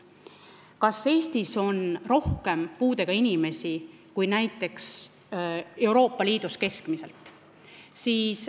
Kas Eestis on rohkem puudega inimesi kui näiteks Euroopa Liidus keskmiselt?